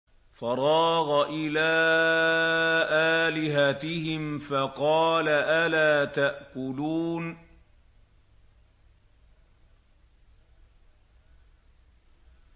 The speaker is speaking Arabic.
فَرَاغَ إِلَىٰ آلِهَتِهِمْ فَقَالَ أَلَا تَأْكُلُونَ